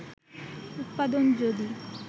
উৎপাদন যদি